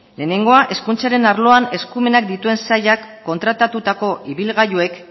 lehenengoa hezkuntzaren arloan eskumenak dituen sailak kontratatutako ibilgailuek